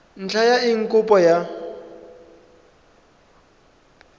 ntlha ya eng kopo ya